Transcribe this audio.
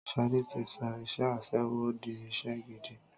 Ṣadé tí sọ iṣẹ́ aṣẹ́wó di iṣẹ́ gidi